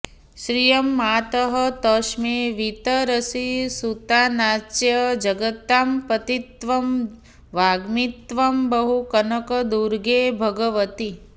श्रियं मातः तस्मै वितरसि सुतानाञ्च जगतां पतित्वं वाग्मित्वं बहु कनकदुर्गे भगवति